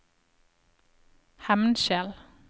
Hemnskjel